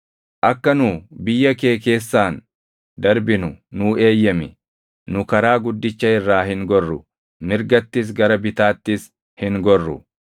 “Akka nu biyya kee keessaan darbinu nuu eeyyami. Nu karaa guddicha irraa hin gorru; mirgattis gara bitaattis hin gorru.